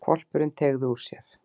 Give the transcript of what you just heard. Hvolpurinn teygði úr sér.